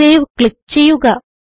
save click ചെയ്യുക